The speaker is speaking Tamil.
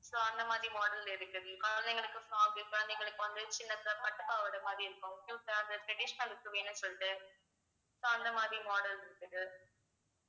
so அந்த மாதிரி model குழந்தைகளுக்கு frock குழந்தைகளுக்கு வந்து சின்னதா பட்டுப் பாவாடை மாதிரி இருக்கும் cute அ traditional க்கு வேணும்னு சொல்லிட்டு so அந்த மாதிரி models இருக்குது